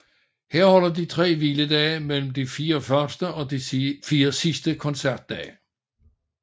Her holder de tre hviledage mellem de 4 første og de 4 sidste koncertdage